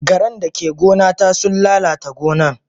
Garan dake gona ta sun lalata gonan.